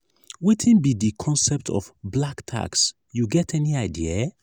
wetin be di concept of "black tax" you get any idea?